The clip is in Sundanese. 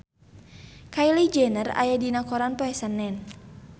Kylie Jenner aya dina koran poe Senen